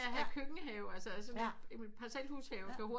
Så have en køkkenhave altså sådan et parselvhus have kan hurtigt